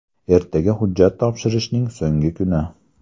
Ertaga hujjat topshirishning so‘nggi kuni.